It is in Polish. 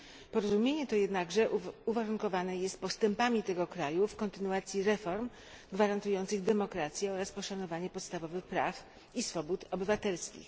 Porozumienie to jednakże uwarunkowane jest postępami tego kraju w kontynuacji reform gwarantujących demokrację oraz poszanowanie podstawowych praw i swobód obywatelskich.